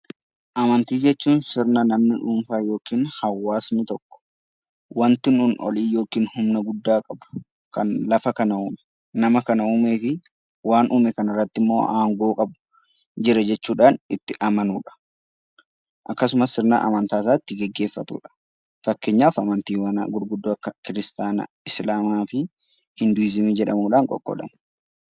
Amantii jechuun sirna namni dhuunfa yookiin hawaasni tokko wanti nuni olii yookiin humna gudda qabu kan lafa kana, nama kana uumee fi waan uume kanarratti immo haangoo qabu jira jechuudhan. itti amanudha. akkasumas sirna amantarratti geggeeffatudha. fakkeenyaf amantiiwwaan gurguddoo kiristaayina, islamaa fi junbiisiini jedhamuudhan qoqqoodamu.